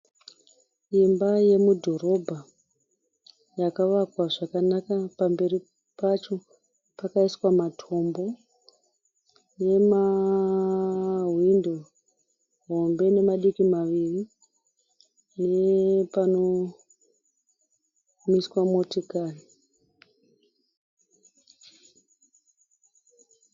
Imba yemudhorobha yakawakwa zvakanaka pamberi pacho pakaiswa matombo nemahwindo hombe ne madiki maviri nepanomiswa motokari